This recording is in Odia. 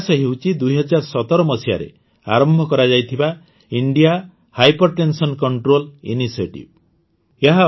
ଏହି ପ୍ରୟାସ ହେଉଛି ୨୦୧୭ ମସିହାରେ ଆରମ୍ଭ କରାଯାଇଥିବା ଇଣ୍ଡିଆ ହାଇପର୍ଟେନସନ କଂଟ୍ରୋଲ୍ ଇନିସିଏଟିଭ୍